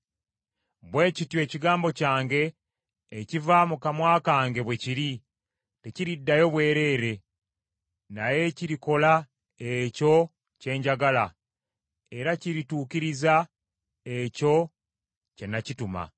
bwe kityo ekigambo kyange ekiva mu kamwa kange bwe kiri; tekiriddayo bwereere, naye kirikola ekyo kye njagala era kirituukiriza ekyo kye nakituma.